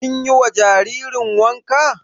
Kin yi wa jaririn wanka?